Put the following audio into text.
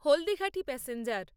Haldighati passenger